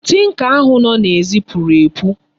Tinker ahụ nọ n'èzí puru epu.